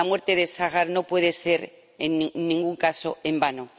La muerte de Sahar no puede ser, en ningún caso, en vano.